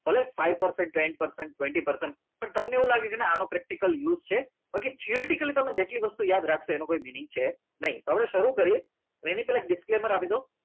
college pipe પર છે ten percentage twenty percentage પણ તમને એવું લાગે કે ના આનું પ્રેક્ટીકલ use છે બાકી તારી theoretical જેટલી વસ્તુ યાદ રાખશો એનો કોઈ mining છે નહીં